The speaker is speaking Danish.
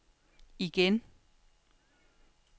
igen